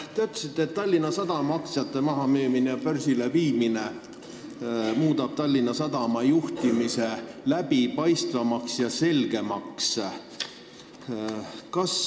Te ütlesite, et Tallinna Sadama aktsiate müümine, ettevõtte börsile viimine muudab Tallinna Sadama juhtimise läbipaistvamaks.